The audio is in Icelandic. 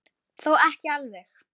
Þó ekki alveg.